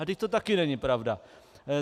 A vždyť to taky není pravda.